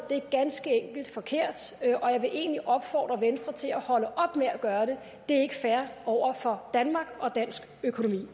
er ganske enkelt forkert og jeg vil egentlig opfordre venstre til at holde op med at gøre det det er ikke fair over for danmark og dansk økonomi